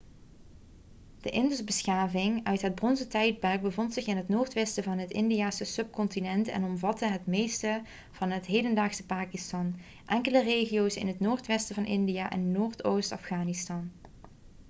de indusbeschaving uit het bronzen tijdperk bevond zich in het noordwesten van het indiase subcontinent en omvatte het meeste van het hedendaagse pakistan enkele regio's in het noordwesten van india en noordoost afghanistan